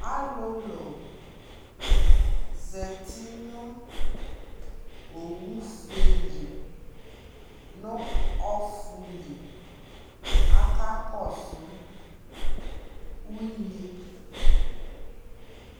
alʋlʋ zati nʋ ɔwʋ ƒʋɛ li nʋ ɔƒʋ li, aka kɔsʋ unyi